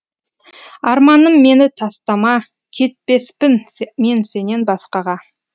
арманым мені тастама кетпеспін мен сенен басқаға